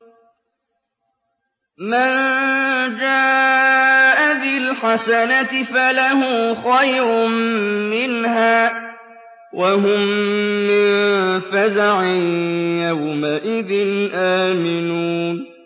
مَن جَاءَ بِالْحَسَنَةِ فَلَهُ خَيْرٌ مِّنْهَا وَهُم مِّن فَزَعٍ يَوْمَئِذٍ آمِنُونَ